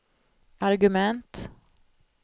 argument